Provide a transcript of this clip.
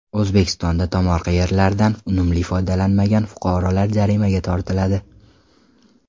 O‘zbekistonda tomorqa yerlardan unumli foydalanmagan fuqarolar jarimaga tortiladi.